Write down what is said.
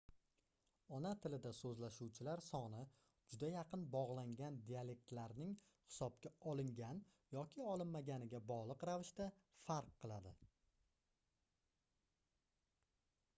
ona tilida soʻzlashuvchilar soni juda yaqin bogʻlangan dialektlarlarning hisobga olingan yoki olinmaganiga bogʻliq ravishda farq qiladi